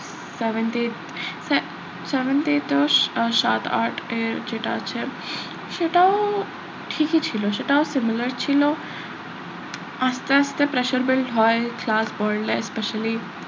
seventh eight seventh eight আর সাত আটের যেটা আছে সেটাও ঠিকই ছিল সেটাও similar ছিল আস্তে আস্তে pressure build হয় class বাড়লে specially